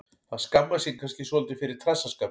Hann skammast sín kannski svolítið fyrir trassaskapinn.